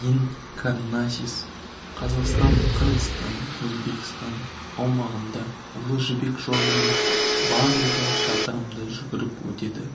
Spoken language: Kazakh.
дин карнасис қазақстан қырғызстан өзбекстан аумағында ұлы жібек жолымен барлығы шақырымды жүгіріп өтеді